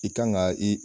I kan ka i